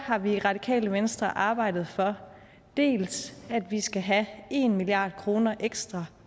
har vi i radikale venstre arbejdet for dels at vi skal have en milliard kroner ekstra